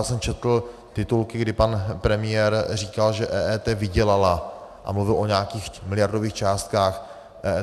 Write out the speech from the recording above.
Já jsem četl titulky, kdy pan premiér říkal, že EET vydělala, a mluvil o nějakých miliardových částkách.